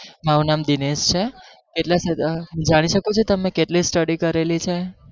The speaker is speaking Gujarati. મારુ નામ દિનેશ છે એટલા જાણી શકું છુ તમે કેટલી study કરેલી છે